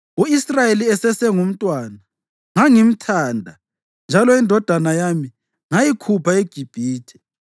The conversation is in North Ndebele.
“U-Israyeli esesengumntwana, ngangimthanda njalo indodana yami ngayikhupha eGibhithe.